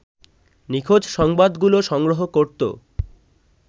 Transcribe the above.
নিখোঁজ সংবাদগুলো সংগ্রহ করত